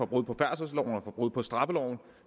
brud på færdselsloven og brud på straffeloven